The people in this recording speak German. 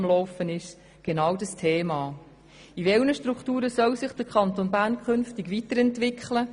In welchen Strukturen soll sich der Kanton Bern zukünftig weiterentwickeln?